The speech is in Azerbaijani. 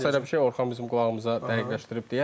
Varsa elə bir şey Orxan bizim qulağımıza dəqiqləşdirib deyər.